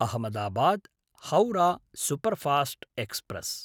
Ahmedabad-Howrah superfast express